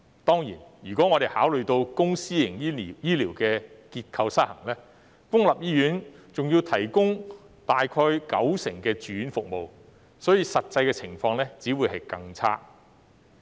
當然，考慮到公私營醫療結構失衡，公立醫院還要提供約九成的住院服務，所以實際情況只會更差。